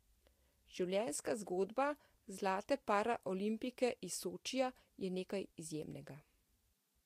Življenjska zgodba zlate paraolimpijke iz Sočija je nekaj izjemnega.